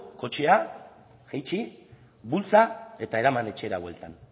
kotxea itxi bultza eta eraman etxera bueltan